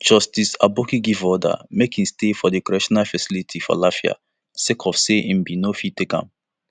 justice aboki give order make e stay for di correctional facility for lafia sake of say im bin no fit take